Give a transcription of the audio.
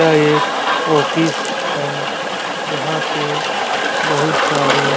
यह एक ऑफिस हैं जहाँ पे बहुत सारें --